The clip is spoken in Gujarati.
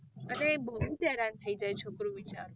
અને બહુજ હેરાન થઇ જાય છોકરું બિચારું.